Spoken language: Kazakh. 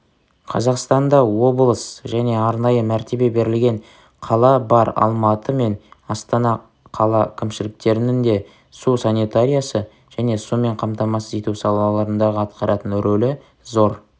қазақстанда облыс және арнайы мәртебе берілген қала бар алматы мен астана қала кімшіліктерінің де су санитариясы және сумен қамтамсыз ету салаларындағы атқаратын ролі зор